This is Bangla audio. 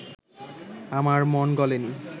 আমার মন গলে নি